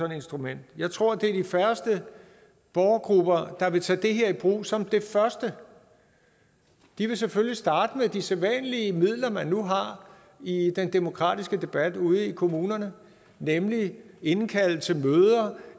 et instrument jeg tror det er de færreste borgergrupper der vil tage det her i brug som det første de vil selvfølgelig starte med de sædvanlige midler man nu har i den demokratiske debat ude i kommunerne nemlig at indkalde til møder